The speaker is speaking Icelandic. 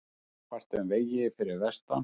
Ófært um vegi fyrir vestan